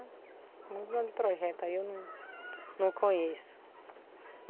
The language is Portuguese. Muitos donos de projetos, aí eu não não conheço.